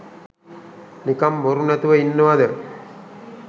නිකං බොරු නැතුව ඉන්නවද.